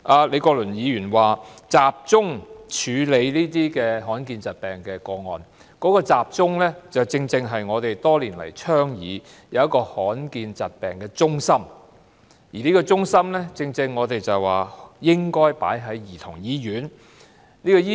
李國麟議員建議集中處理罕見疾病的個案，當中"集中"的地方，正是我們多年來倡議設立的罕見疾病中心，而我們建議該中心設在兒童醫院。